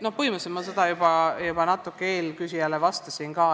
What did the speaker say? Põhimõtteliselt ma selle kohta juba natuke eelküsijale vastasin.